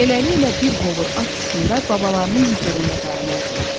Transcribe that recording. Beləliklə, bir hovur at üstündə babalarının hüzurunda dayanardılar.